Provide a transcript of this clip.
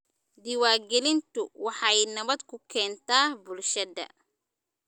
Diiwaangelintu waxay nabad ku keentaa bulshada.